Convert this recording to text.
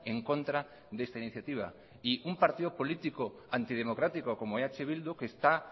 en contra de esta iniciativa y un partido político antidemocrático como eh bildu que está